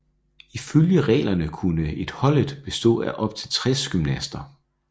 Ifølge reglerne kunne et holdet bestå af op til 60 gymnaster